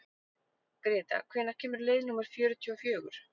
Gréta, hvenær kemur leið númer fjörutíu og fjögur?